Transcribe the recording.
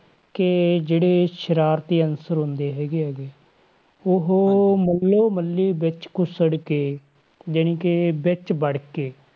ਕਿ ਜਿਹੜੇ ਸਰਾਰਤੀ ਹੁੰਦੇ ਹੈਗੇ ਆ ਗੇ, ਉਹ ਮੱਲੋ ਮੱਲੀ ਵਿੱਚ ਘੁਛੜ ਕੇ ਜਾਣੀ ਕਿ ਵਿੱਚ ਵੜ ਕੇ,